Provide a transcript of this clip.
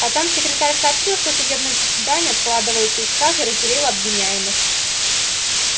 потом секретарь сообщил что судебное заседание откладывается и стража разделила обвиняемых